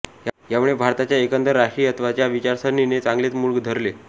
यामुळे भारतात एकंदर राष्ट्रीयत्वाच्या विचारसरणीने चांगलेच मूळ धरले